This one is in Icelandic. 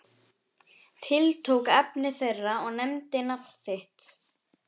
Tiltók efni þeirra og nefndi nafn þitt.